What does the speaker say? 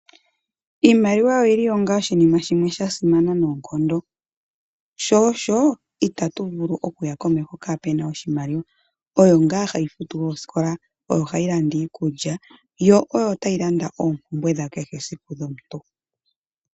Iimaliwa oyi li onga oshinima shimwe sha simana noonkondo. Sho osho, itatu vulu okuya komeho kaape na oshimaliwa. Oyo ngaa hayi futu oosikola, oyo hayi landa iikulya, yo oyo tayi landa oompumbwe dhakehe esiku dhomuntu.